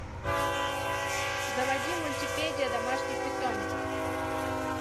заводи мультипедия домашних питомцев